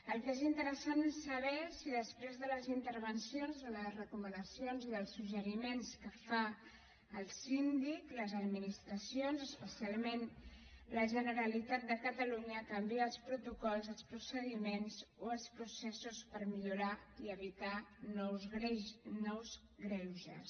el que és interessant és saber si després de les intervencions de les recomanacions i dels suggeriments que fa el síndic les administracions especialment la generalitat de catalunya canvia els protocols els procediments o els processos per millorar i evitar nous greuges